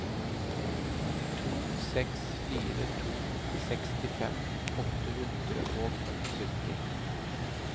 to seks fire to sekstifem åtte hundre og sytti